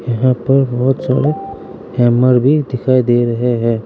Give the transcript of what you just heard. यहां पर बहोत सारे हैमर भी दिखाई दे रहे हैं।